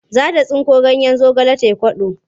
Za ta tsinko ganyen zagale za ta yi kwaɗo.